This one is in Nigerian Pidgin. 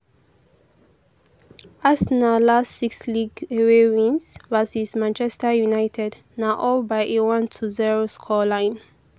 arsenal last six league away wins versus manchester united na all by a 1-0 scoreline.